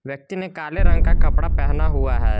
व्यक्ति ने काले रंग का कपड़ा पहना हुआ है।